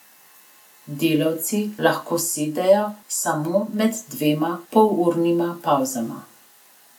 Delavci lahko sedejo samo med dvema polurnima pavzama.